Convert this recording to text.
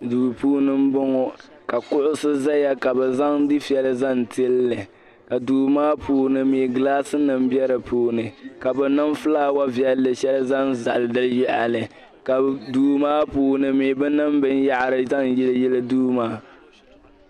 Duu puuni m-bɔŋɔ ka kuɣisi zaya ka bɛ zaŋ dufiɛya zaŋ tili li ka duu maa puuni mi gilaasinima be di puuni ka bɛ niŋ fulaawa viɛl' shɛli zaŋ zali di yaɣili ka duu maa puuni mi bɛ niŋ binyɛhari zaŋ yiliyili duu maa.